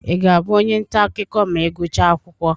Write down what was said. Ị ga-abụ onye nta akụkọ ma ị gụchaa akwụkwọ?